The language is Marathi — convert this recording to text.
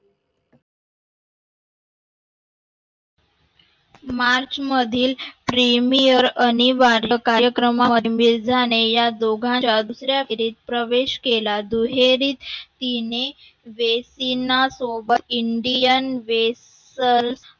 मार्च मधील अनिवार्य कार्यक्रम Premier मध्ये मिर्झाने या दोघांच्या दुसऱ्या वे दुहेरी तिने ventena सोबत प्रवेश केला. Indian vesal